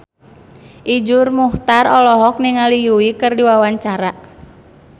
Iszur Muchtar olohok ningali Yui keur diwawancara